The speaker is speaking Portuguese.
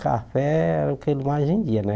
Café era o que ele mais vendia, né?